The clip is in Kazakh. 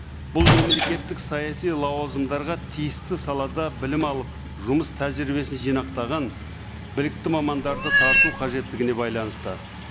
бұл мемлекеттік саяси лауазымдарға тиісті салада білім алып жұмыс тәжірибесін жинақтаған білікті мамандарды тарту қажеттігіне байланысты